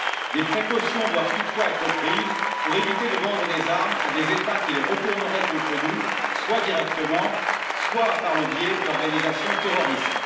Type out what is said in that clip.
Des précautions doivent toutefois être prises pour éviter de vendre des armes à des États qui les retourneraient contre nous, soit directement, soit par le biais d'organisations terroristes.